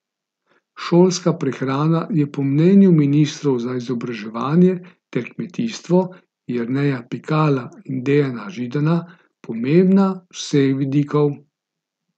Šolska prehrana je po mnenju ministrov za izobraževanje ter za kmetijstvo, Jerneja Pikala in Dejana Židana, pomembna z vseh vidikov.